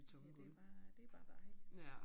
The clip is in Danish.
Ja det bare det bare dejligt